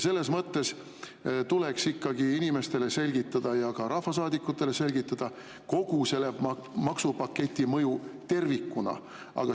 Selles mõttes tuleks inimestele ikkagi selgitada ja ka rahvasaadikutele selgitada kogu selle maksupaketi mõju tervikuna.